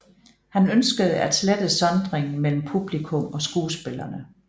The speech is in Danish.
Han ønskede at slette sondringen mellem publikum og skuespillerne